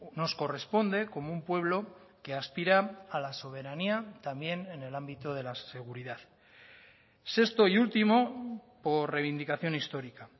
nos corresponde como un pueblo que aspira a la soberanía también en el ámbito de la seguridad sexto y último por reivindicación histórica